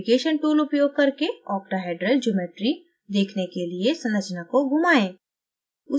navigation tool उपयोग करके octahedral geometry देखने के लिए संरचना को घुमाएं